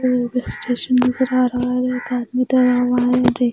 चश्मा नज़र आ रहा है एक आदमी डरा हुआ है ये देख --